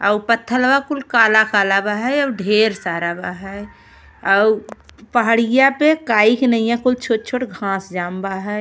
अउ उ पथलवा कुल काला-काला बा है और ढेर सारा बा है और उ पहाड़िया पे काई के नईया छोट-छोट घांस जाम बा है।